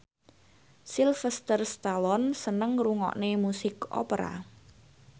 Sylvester Stallone seneng ngrungokne musik opera